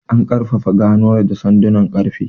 An ƙarfafa ganuwar da sandunan ƙarfe.